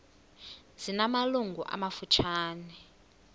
zina malungu amafutshane